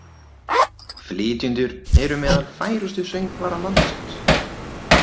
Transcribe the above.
Flytjendurnir eru meðal færustu söngvara landsins